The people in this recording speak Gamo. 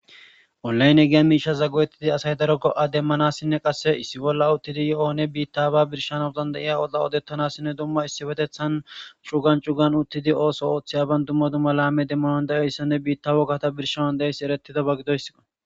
Olay ne giya miisha zagguwettidi asay daro go'a demmanassinne qasse issi bolla uttidi yo'oone biittaba birshanos dandayiya oda odettanassinne dumma issi betethan shugan cugan uttidi ooso ooththeyaban dumma duma laame demmanon da'eyssanne biitta wokkata birsha an da'essi eretida baggidoyssqo.